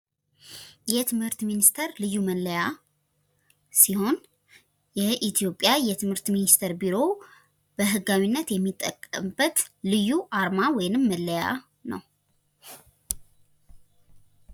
የትምህርት ሚኒስቴር መለያ ሲሆን ሲሆን የኢትዮጵያ የትምህርት ሚኒስቴር ቢሮ በህጋዊነት የሚጠቀምበት ልዩ አርማ ወይንም መለያ ነው።